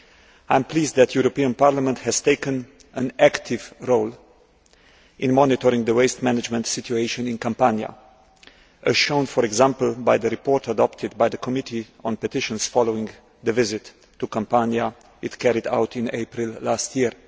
I am pleased that the European Parliament has taken an active role in monitoring the waste management situation in Campania, as shown, for example, by the report adopted by the Committee on Petitions following the visit to Campania which it carried out in April last year.